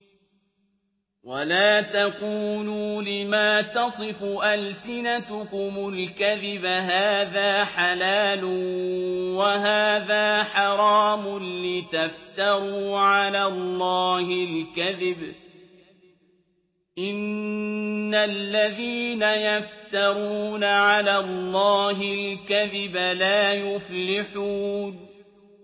وَلَا تَقُولُوا لِمَا تَصِفُ أَلْسِنَتُكُمُ الْكَذِبَ هَٰذَا حَلَالٌ وَهَٰذَا حَرَامٌ لِّتَفْتَرُوا عَلَى اللَّهِ الْكَذِبَ ۚ إِنَّ الَّذِينَ يَفْتَرُونَ عَلَى اللَّهِ الْكَذِبَ لَا يُفْلِحُونَ